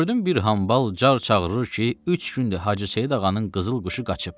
Gördüm bir hambal car çağırır ki, üç gündür Hacı Seyid Ağanın qızıl quşu qaçıb.